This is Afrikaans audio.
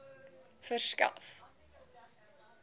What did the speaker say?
verskaf